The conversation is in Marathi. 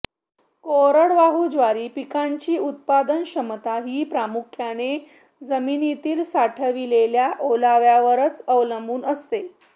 कोरडवाहू ज्वारी पिकाची उत्पादनक्षमता ही प्रामुख्याने जमिनीतील साठविलेल्या ओल्याव्यावरच अवलंबून असते